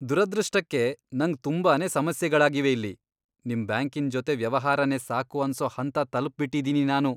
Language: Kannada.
ದುರದೃಷ್ಟಕ್ಕೆ ನಂಗ್ ತುಂಬಾನೇ ಸಮಸ್ಯೆಗಳಾಗಿವೆ ಇಲ್ಲಿ, ನಿಮ್ ಬ್ಯಾಂಕಿನ್ ಜೊತೆ ವ್ಯವಹಾರನೇ ಸಾಕು ಅನ್ಸೋ ಹಂತ ತಲ್ಪ್ಬಿಟ್ಟಿದೀನಿ ನಾನು.